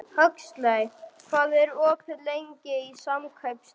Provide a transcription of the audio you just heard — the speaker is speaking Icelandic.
Huxley, hvað er opið lengi í Samkaup Strax?